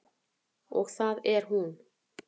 Og það er hún.